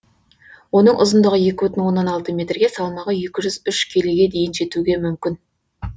оның ұзындығы екі бүтін оннан алты метрге салмағы екі жүз үш келіге дейін жетуге мүмкін